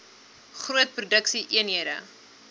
groot produksie eenhede